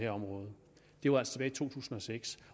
område det var altså tilbage i to tusind og seks